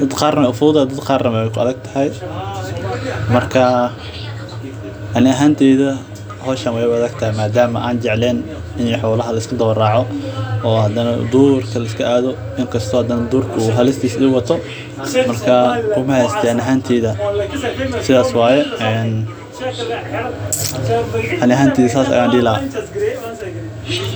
dad qarna wey u fududahay dad qarna wey ku adhagtahay marka ani ahanteyds hoshan weybigi adagtahay in durka liska ado oo xolaha liska raco inkasta u durka halistisa u wato aniga ahanteyda sidhas ayan dihi laha.